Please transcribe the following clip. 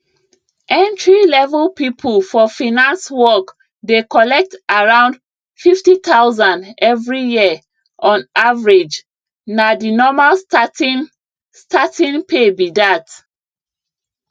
entrylevel people for finance work dey collect around 50000 every year on averagena the normal starting starting pay be that